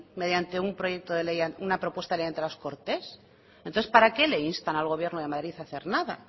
mediante un proyecto de ley una propuesta de ley de transportes entonces para qué le instan al gobierno de madrid a hacer nada